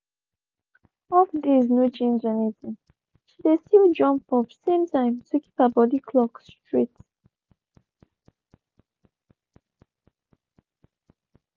off days no change anything—she dey still jump up same time to keep her body clock straight.